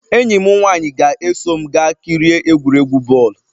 Enyi m nwanyị ga-eso m gaa kirie egwuregwu bọọlụ.